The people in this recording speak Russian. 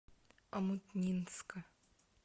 омутнинска